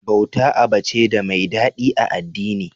Bauta aba ce da mai daɗi a addini.